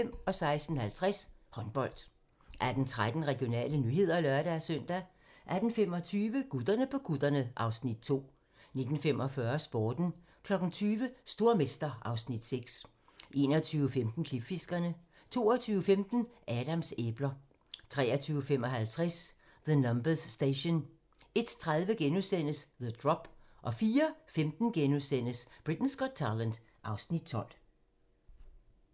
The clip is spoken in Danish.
16:50: Håndbold 18:13: Regionale nyheder (lør-søn) 18:25: Gutterne på kutterne (Afs. 2) 19:45: Sporten 20:00: Stormester (Afs. 6) 21:15: Klipfiskerne 22:15: Adams æbler 23:55: The Numbers Station 01:30: The Drop * 04:15: Britain's Got Talent (Afs. 12)*